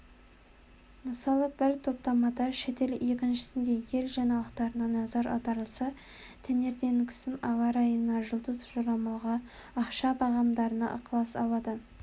мысалы бір топтамада шетел екіншісінде ел жаңалықтарына назар аударылса таңертеңгісін ауа райына жұлдыз жорамалға ақша бағамдарына ықылас ауады